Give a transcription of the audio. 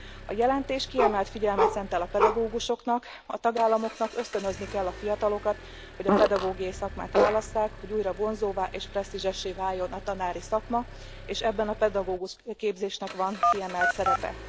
A jelentés kiemelt figyelmet szentel a pedagógusoknak a tagállamoknak ösztönözni kell a fiatalokat, hogy a pedagógiai szakmát válasszák, hogy újra vonzóvá és presztízsessé váljon a tanári szakma, és ebben a pedagógusképzésnek van kiemelt szerepe.